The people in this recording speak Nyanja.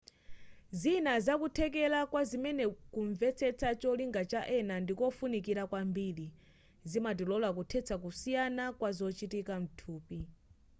zina zakuthekera kwazimenezi kumvetsetsa cholinga cha ena ndikofunikira kwambiri zimatilola kuthetsa kusiyana kwa zochitika mthupi